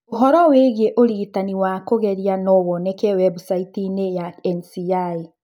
ũhoro wĩgiĩ ũrigitani wa kũgeria no woneke webusaiti-inĩ ya NCI.